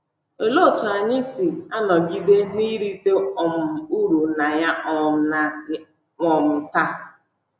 Olee otú anyị si anọgide na-erite um uru na ya um na ya um taa?